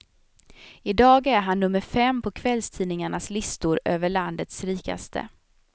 I dag är han nummer fem på kvällstidningarnas listor över landets rikaste.